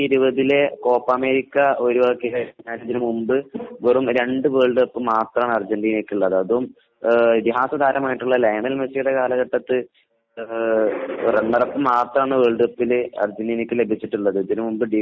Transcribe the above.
വലിയ വലിയ കപ്പുകളൊന്നും നേടിയിട്ടില്ല എന്നതാണ് വാസ്തവം. കാരണം രണ്ടായിരത്തി ഇരുപതിലെ കോപ്പ അമേരിക്ക ഒഴിവാക്കി കഴിഞ്ഞാൽ ഇതിനു മുൻപ് വെറും രണ്ടു വേൾഡ് കപ്പ് മാത്രമാണ് അർജനീനക്ക് ഉള്ളത് . അതും ഇതിഹാസ താരമായ ലയണൽ മെസ്സിയുടെ കാലഘട്ടത്തിൽ